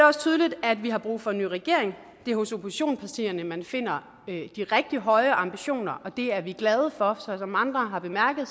også tydeligt at vi har brug for en ny regering det er hos oppositionspartierne man finder de rigtig høje ambitioner og det er vi glade for som andre har bemærket